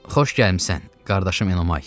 Xoş gəlmisən, qardaşım Enomay.